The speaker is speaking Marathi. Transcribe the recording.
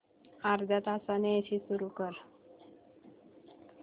अर्ध्या तासाने एसी सुरू कर